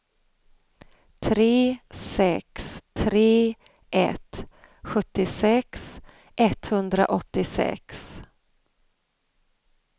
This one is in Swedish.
tre sex tre ett sjuttiosex etthundraåttiosex